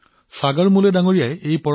তেওঁৰ প্ৰচেষ্টাইও যথেষ্ট প্ৰশংসা লাভ কৰিছে